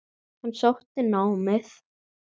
Hann sótti námið.